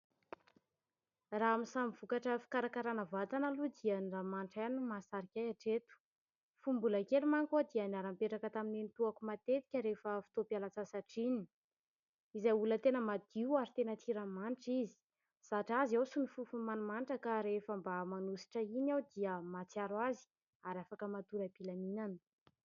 Raha amin ny samy vokatra fikarakarana vatana aloha dia ny ranomanitra ihany no mahasarika ahy hatreto , fony mbola kely manko aho dia niaranipetraka tamin n'y nenitoako ,matetika rehefa fotoam _pialatsasatra iny izay olona tena madio ary tena tia ranomanitra izy zatra azy aho sy ny fofony manimanitra ka rehefa mba manositra iny aho dia mahatsiaro azy ary afaka matory ampilaminana.